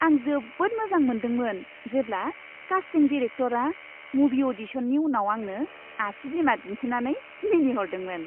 आं जोबोद मोजां मोनदोंमोन जेब्ला कास्टिं डिरेक्टरआ मुभि अ'डिशननि उनाव आंनो आसि बिमा दिन्थिनानै मिनिहरदोंमोन।